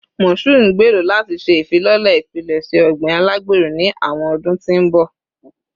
Mashood ngbero lati ṣe ifilọlẹ ipilẹṣẹ ogbin alagbero ni awọn ọdun ti n bọ